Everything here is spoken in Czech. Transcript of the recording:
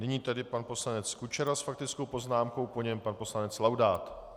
Nyní tedy pan poslanec Kučera s faktickou poznámkou, po něm pan poslanec Laudát.